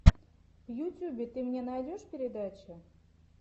в ютюбе ты мне найдешь передачи